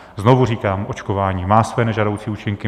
Znovu říkám, očkování má své nežádoucí účinky.